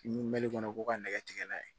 Ni mɛli kɔnɔ ko ka nɛgɛ tigɛ n'a ye